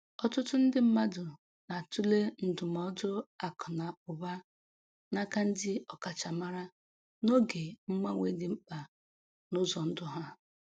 Ọtụtụ ndị mmadụ na-atụle ndụmọdụ akụ na ụba n'aka ndị ọkachamara n’oge mgbanwe dị mkpa n’ụzọ ndụ ha.